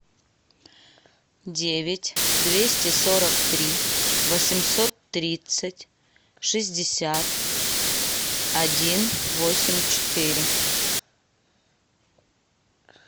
девять двести сорок три восемьсот тридцать шестьдесят один восемь четыре